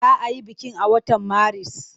Za a yi bikin a watan Maris?